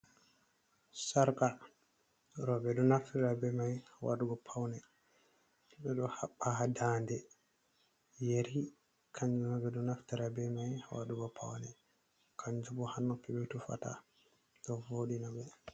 Sarka, roɓe ɗo naftara be mai wadugo paune, ɓe ɗo haɓɓa ha da nde, yari kanjubo ɓe ɗo naftara be mai wadugo paune, kanjubo ha noppi ɓe tufata ɗo voɗina ɓe.